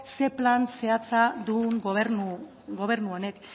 zein plan zehatza duen gobernu honek